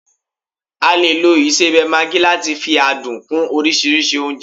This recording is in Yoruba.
A lè lo isebe Maggi láti fi adùn kún oríṣiríṣi oúnjẹ